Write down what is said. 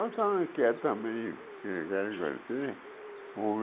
Eu também quero também, quero agra agradecer por